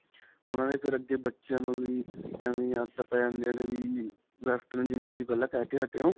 ਉਨ੍ਹਾਂ ਦੇ ਫੇਰ ਅੱਗੇ ਬੱਚਿਆਂ ਨੂੰ ਵੀ, ਐਂਵੇਂ ਦੀਆਂ ਆਦਤਾਂ ਪੈ ਜਾਂਦੀਆਂ ਨੇ ਕਿ western ਜਿਵੇਂ ਤੁਸੀਂ ਪਹਿਲਾਂ ਕਿਹਕੇ ਹਟੇ ਓ.